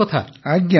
ଆଜ୍ଞା ଆଜ୍ଞା